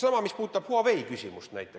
Sama võib öelda Huawei küsimuse kohta.